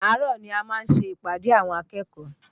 Àárọ̀ ni a máa ń ṣe ìpàdé àwọn akẹ́kọ̀ọ́